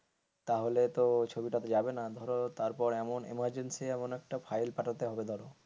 তাহলে তো ছবিটা তো যাবে না তো ধরো তারপর এমন emergency এমন একটা ফাইল পাঠাতে হবে ধরো.